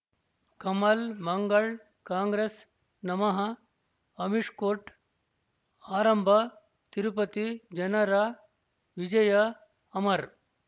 ಕಮಲ್ ಮಂಗಳ್ ಕಾಂಗ್ರೆಸ್ ನಮಃ ಅಮಿಷ್ ಕೋರ್ಟ್ ಆರಂಭ ತಿರುಪತಿ ಜನರ ವಿಜಯ ಅಮರ್